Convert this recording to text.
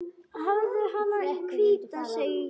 Hafðu hana hvíta, segi ég.